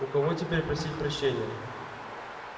у кого теперь просить прощения